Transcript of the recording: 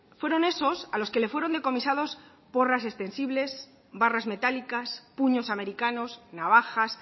fueron esos a los que le fueron decomisados porras extensibles barras metálicas puños americanos navajas